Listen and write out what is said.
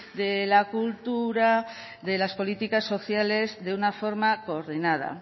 de la cultura de las políticas sociales de una forma coordinada